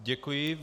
Děkuji.